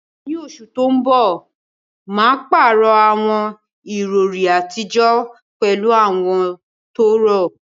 Ní oṣù tó ń bọ̀, mà á pààrọ̀ àwọn ìrọ̀rí àtijọ́ pẹ̀lú àwọn tó rọ̀.